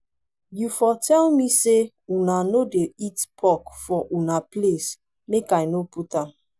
you for tell me say una no dey eat pork for una place make i no put am